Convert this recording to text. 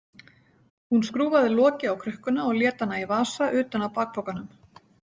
Hún skrúfaði loki á krukkuna og lét hana í vasa utan á bakpokanum.